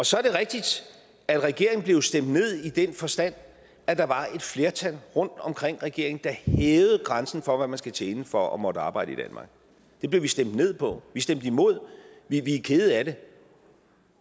så er det rigtigt at regeringen jo blev stemt ned i den forstand at der var et flertal rundt omkring regeringen der hævede grænsen for hvad man skal tjene for at måtte arbejde i danmark det blev vi stemt ned på vi stemte imod vi er kede af det